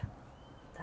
Tá.